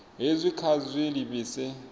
hezwi kha vha zwi livhise